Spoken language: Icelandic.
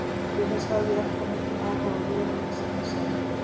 Til þess hafði ég allt of mikinn áhuga á vörunni sem ég seldi.